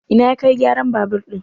Ina ya Kai gyaran babur ɗin?